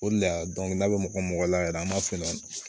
O de la n'a bɛ mɔgɔ mɔgɔ mɔgɔ la yɛrɛ an b'a f'u ye